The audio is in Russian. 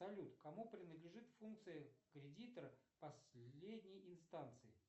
салют кому принадлежит функция кредита последней инстанции